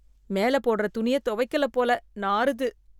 மேல போடுற துணிய துவைக்கல போல நாறுது.